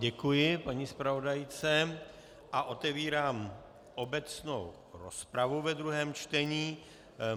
Děkuji paní zpravodajce a otevírám obecnou rozpravu ve druhém čtení.